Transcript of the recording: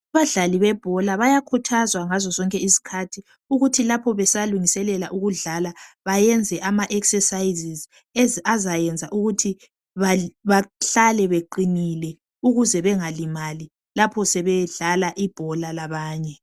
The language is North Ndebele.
Abadlali bebhola bayakhuthazwa ngazo zonke izikhathi ukuthi lapho besalungiselela ukudlala bayenze ama exercises azayenza ukuthi bahlale beqinile ukuze bengalimali lapho sebedlala ibhola labanye